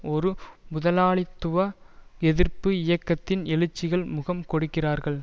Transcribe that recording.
ஒரு முதலாளித்துவ எதிர்ப்பு இயக்கத்தின் எழுச்சிக்கு முகம் கொடுக்கிறார்கள்